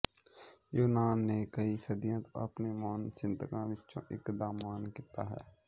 ਯੂਨਾਨ ਨੇ ਕਈ ਸਦੀਆਂ ਤੋਂ ਆਪਣੇ ਮਹਾਨ ਚਿੰਤਕਾਂ ਵਿਚੋਂ ਇਕ ਦਾ ਮਾਣ ਕੀਤਾ ਹੈ